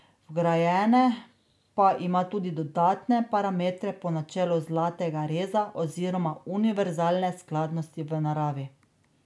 Vgrajene pa ima tudi dodatne parametre po načelu zlatega reza oziroma univerzalne skladnosti v naravi.